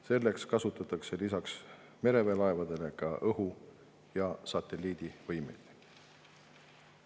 Selleks kasutatakse peale mereväe laevade ka õhu- ja satelliidivõimekust.